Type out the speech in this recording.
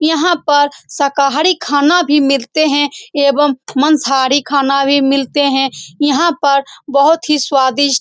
यहाँ पर शाकाहारी खाना भी मिलते हैं एवं मांसाहारी खाना भी मिलते हैं। यहाँ पर बहुत ही स्वादिष्ट --